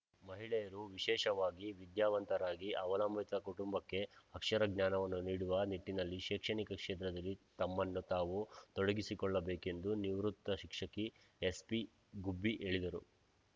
ಮಹಿಳೆಯರು ವಿಶೇಷವಾಗಿ ವಿದ್ಯಾವಂತರಾಗಿ ಅವಲಂಬಿತ ಕುಟುಂಬಕ್ಕೆ ಅಕ್ಷರ ಜ್ಞಾನವನ್ನು ನೀಡುವ ನಿಟ್ಟಿನಲ್ಲಿ ಶೈಕ್ಷಣಿಕ ಕ್ಷೇತ್ರದಲ್ಲಿ ತಮ್ಮನ್ನು ತಾವು ತೊಡಗಿಸಿಕೊಳ್ಳಬೇಕೆಂದು ನಿವೃತ್ ಶಿಕ್ಷಕಿ ಎಸ್ಪಿಗುಬ್ಬಿ ಹೇಳಿದರು